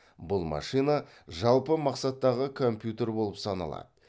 бұл машина жалпы мақсаттағы компьютер болып саналады